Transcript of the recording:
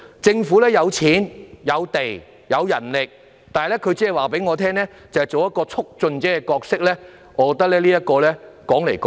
政府有資金、土地，也有人力，卻只跟我們說擔當一個促進者的角色，我認為怎樣也說不通。